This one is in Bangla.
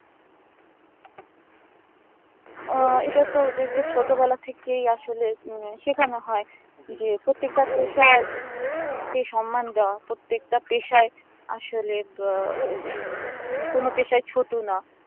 আহ এটা তো ওদের কে ছোট বেলা থেকেই আসলে উম সেখানো হয় যে প্রত্যেক বার তো sir কে সন্মান দেওয়া প্রত্যেক টা পেশায় আসলে বো কোনো পেশায় ছোট না